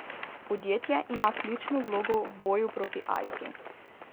Podjetje ima ključno vlogo v boju proti aidsu.